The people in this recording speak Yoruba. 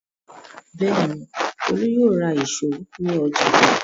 Bẹ́ẹ̀ ni, Olú yóò ra ìṣó ní ọjà.